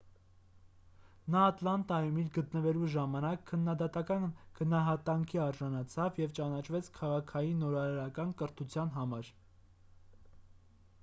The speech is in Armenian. նա ատլանտայում իր գտնվելու ժամանակ քննադատական գնահատանքի արժանացավ և ճանաչվեց քաղաքային նորարարական կրթության համար